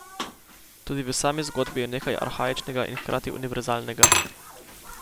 Tudi v sami zgodbi je nekaj arhaičnega in hkrati univerzalnega.